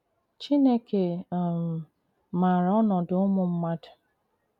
CHINEKE um màrà ọnọdụ ùmụ̀ mmàdù..